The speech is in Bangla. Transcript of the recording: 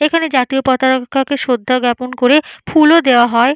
এইখানে জাতীয় পতাকাকে শ্রদ্ধা জ্ঞাপন করে ফুলও দেওয়া হয়।